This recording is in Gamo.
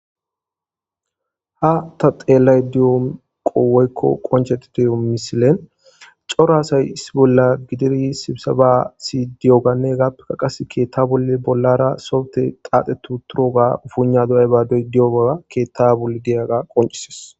Ha taxeelay diyo qowoykko qonchetitiyo misilen coraasay issi bolla gidiri sibsaba sidiyoganne gappeka qas keetta bolle bollara sowte qaaxetu turoga ufuuna do'ay badoy diyogaga keetta bolle diyaga qoncises.